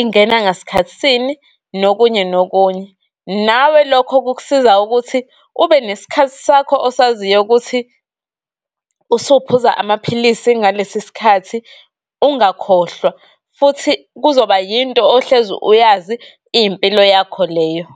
ingena ngasikhathi sini, nokunye-nokunye. Nawe lokho kukusiza ukuthi ube nesikhathi sakho osaziyo ukuthi usuphuza amaphilisi ngalesi sikhathi ungakhohlwa, futhi kuzoba yinto ohleze uyazi, iyimpilo yakho leyo.